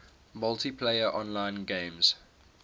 multiplayer online games